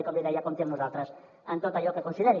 i com li deia compti amb nosaltres en tot allò que consideri